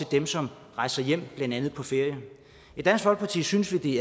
dem som rejser hjem blandt andet på ferie i dansk folkeparti synes vi